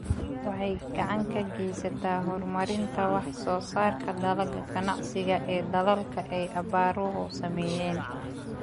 Waxay gacan ka geysataa horumarinta wax soo saarka dalagga ganacsiga ee dalalka ay abaaruhu saameeyeen.